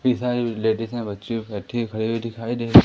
ladies हैं बच्चियों ख़डी हुई दिखाई दे--